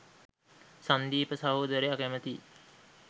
සංදීප සහෝදරය කැමතියි